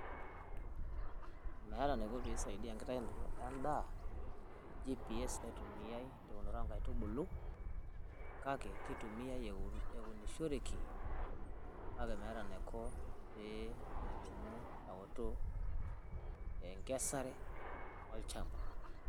meta eniko pisaidia enkitaunoto endaa GPS naitumiai tewunoto onkaitubulu kake kitumiai ewunishoreki kake metaa enaiko pee elimu ewutu enkesare olchamba